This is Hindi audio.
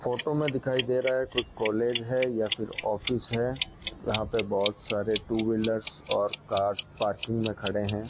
फोटो मे दिखाई दे रहा है को कोई कॉलेज है या फिर ऑफिस है यहां पे बहोत सारे टूव्हीलर्स और कार्स पार्किंग मे खड़े हैं।